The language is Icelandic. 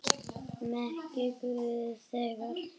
Megi guð geyma þig.